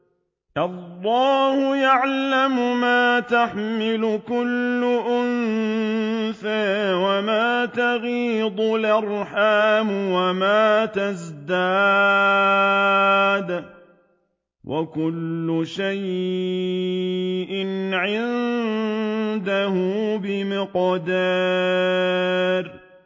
اللَّهُ يَعْلَمُ مَا تَحْمِلُ كُلُّ أُنثَىٰ وَمَا تَغِيضُ الْأَرْحَامُ وَمَا تَزْدَادُ ۖ وَكُلُّ شَيْءٍ عِندَهُ بِمِقْدَارٍ